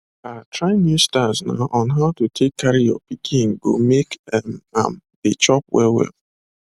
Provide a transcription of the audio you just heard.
ah try new styles na on how to take carry your pikin go make um am dey chop well well